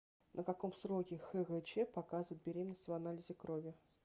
на каком сроке хгч показывает беременность в анализе крови